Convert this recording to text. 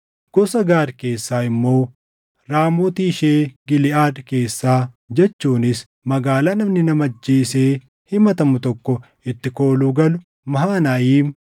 gosa Gaad keessaa immoo, Raamooti ishee Giliʼaad keessaa jechuunis magaalaa namni nama ajjeesee himatamu tokko itti kooluu galu, Mahanayiim,